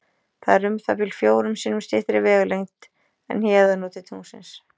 Það er um það bil fjórum sinnum styttri vegalengd en héðan og til tunglsins.